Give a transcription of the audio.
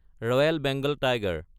royal Bengal tiger